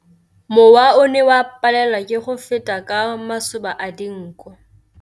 Mowa o ne o palelwa ke go feta ka masoba a dinko.